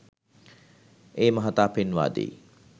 ඒ මහතා පෙන්වා දෙයි